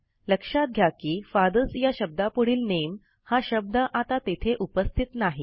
लक्षात घ्या की फादर्स या शब्दापुढील नामे हा शब्द आता तेथे उपस्थित नाही